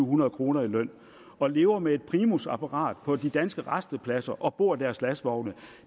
hundrede kroner i løn og lever med et primusapparat på de danske rastepladser og bor i deres lastvogne